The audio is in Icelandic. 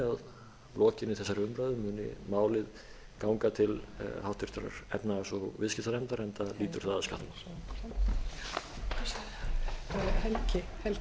að lokinni þessari umræðu muni málið ganga til háttvirtrar efnahags og viðskiptanefndar enda hlýtur það að